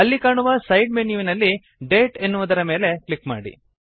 ಅಲ್ಲಿ ಕಾಣುವ ಸೈಡ್ ಮೆನ್ಯುವಿನಲ್ಲಿ ಡೇಟ್ ನ ಮೇಲೆ ಕ್ಲಿಕ್ ಮಾಡಿ